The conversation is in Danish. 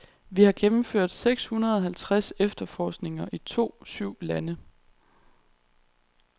Vi har gennemført seks hundrede halvtreds efterforskninger i to syv lande.